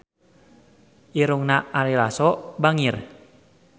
Irungna Ari Lasso bangir